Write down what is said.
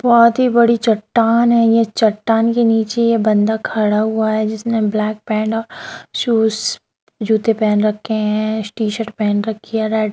यह बहुत बड़ी चट्टान है। इसके नीचे यह बंदा खड़ा हुआ है जिसने ब्लैक पैंट शूज जूते पहन रखा है।